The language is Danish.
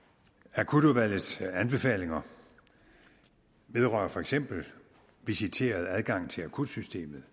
akutudvalgets anbefalinger vedrører for eksempel visiteret adgang til akutsystemet